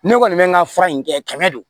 Ne kɔni bɛ n ka fura in kɛ kɛmɛ de don